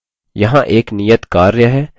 यहाँ एक नियत कार्य है: